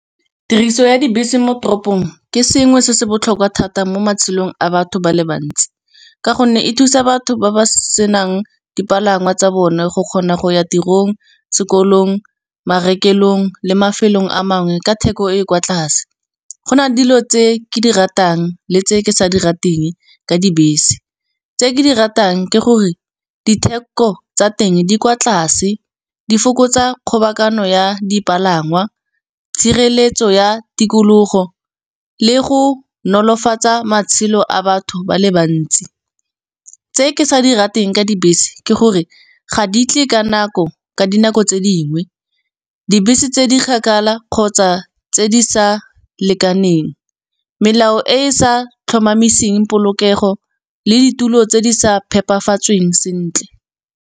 Tiriso ya dibese mo toropong ke sengwe se se botlhokwa thata mo matshelong a batho ba le bantsi, ka gonne e thusa batho ba ba senang dipalangwa tsa bone go kgona go ya tirong, sekolong marekelong le mafelong a mangwe ka theko e e kwa tlase. Go na le dilo tse ke di ratang le tse ke sa di rateng ka dibese, tse ke di ratang ke gore ditheko tsa teng di kwa tlase. Di fokotsa kgobokanyo ya dipalangwa tshireletso ya tikologo le go nolofatsa matshelo a batho ba le bantsi. Tse ke sa di rateng ka dibese ke gore ga di tle ka nako ka dinako tse di nngwe, dibese tse di kgakala kgotsa tse di sa lekaneng, melao e e sa tlhomamiseng polokego le ditulo tse di sa phepafatsweng sentle.